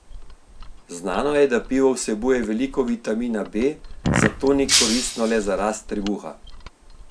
Znano je, da pivo vsebuje veliko vitamina B, zato ni koristno le za rast trebuha.